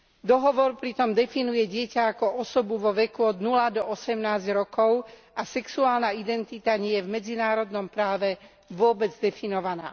Dohovor pritom definuje dieťa ako osobu vo veku od 0 do 18 rokov a sexuálna identita nie je v medzinárodnom práve vôbec definovaná.